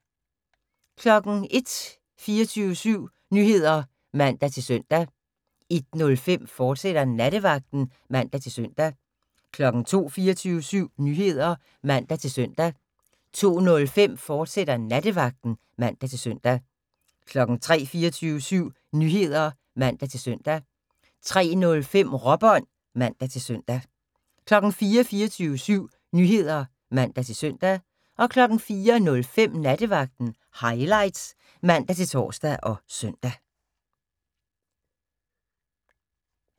01:00: 24syv Nyheder (man-søn) 01:05: Nattevagten, fortsat (man-søn) 02:00: 24syv Nyheder (man-søn) 02:05: Nattevagten, fortsat (man-søn) 03:00: 24syv Nyheder (man-søn) 03:05: Råbånd (man-søn) 04:00: 24syv Nyheder (man-søn) 04:05: Nattevagten Highlights (man-tor og søn)